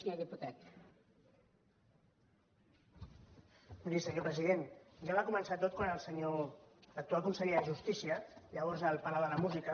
miri senyor president ja va començar tot quan l’actual conseller de justícia llavors al palau de la música